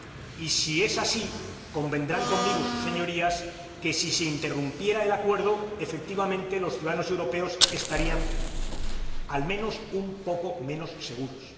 Y si es así, convendrán conmigo sus Señorías en que si se interrumpiera el Acuerdo, efectivamente, los ciudadanos europeos estarían, al menos, un poco menos seguros.